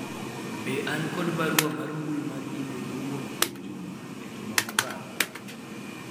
be an kod barua mar mbui mar email mowuok kuom juma e juma mokalo